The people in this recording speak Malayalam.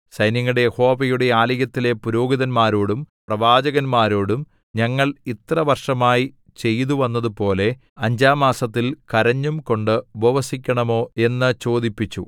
സൈന്യങ്ങളുടെ യഹോവയുടെ ആലയത്തിലെ പുരോഹിതന്മാരോടും പ്രവാചകന്മാരോടും ഞങ്ങൾ ഇത്ര വർഷമായി ചെയ്തുവന്നതുപോലെ അഞ്ചാം മാസത്തിൽ കരഞ്ഞുംകൊണ്ട് ഉപവസിക്കണമോ എന്നു ചോദിപ്പിച്ചു